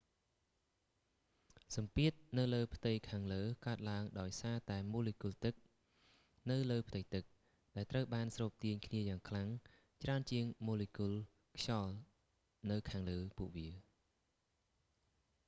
សំពាធនៅលើផ្ទៃខាងលើកើតឡើងដោយសារតែម៉ូលេគុលទឹកនៅលើផ្ទៃទឹក ដែលត្រូវបានស្រូបទាញគ្នាយ៉ាងខ្លាំងច្រើនជាងម៉ូលេគុលខ្យល់នៅខាងលើពួកវា